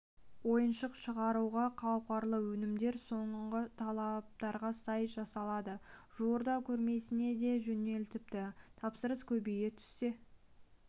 ойыншық шығаруға қауқарлы өнімдер соңғы талаптарға сай жасалады жуырда көрмесіне де жөнелтіпті тапсырыс көбейе түссе